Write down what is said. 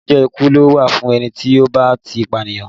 Ìdájọ́ ikú ló wà fún ẹni tí ó bá ti pànìyàn